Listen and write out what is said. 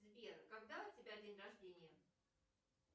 сбер когда у тебя день рождения